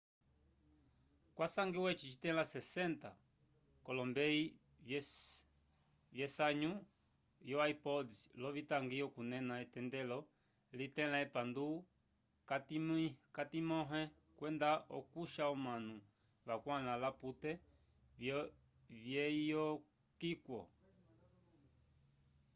kwasangiwa eci citẽla 60 k'olombeyi vyesanyo yo ipods l'ovitangi okunena etendelo litẽla epandu k'atimĩho kwenda okusha omanu vakwãla l'apute vyeyokiwo